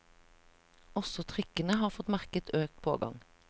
Også trikkene har fått merke økt pågang.